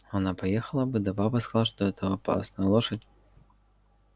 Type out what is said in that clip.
она поехала бы да папа сказал что это опасно лошадь